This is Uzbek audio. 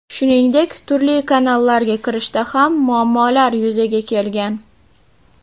Shuningdek, turli kanallarga kirishda ham muammolar yuzaga kelgan.